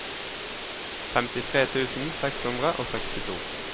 femtitre tusen seks hundre og sekstito